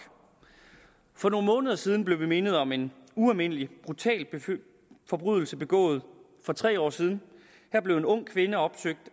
for nogle måneder siden blev vi mindet om en ualmindelig brutal forbrydelse begået for tre år siden her blev en ung kvinde opsøgt